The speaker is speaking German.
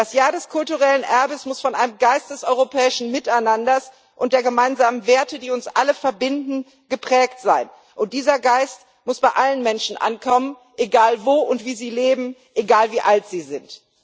Das Jahr des kulturellen Erbes muss von einem Geist des europäischen Miteinanders und der gemeinsamen Werte, die uns alle verbinden, geprägt sein, und dieser Geist muss bei allen Menschen ankommen egal wo und wie sie leben, egal wie alt sie sind.